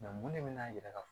mun ne nana yira ka fɔ